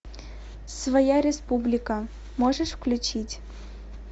своя республика можешь включить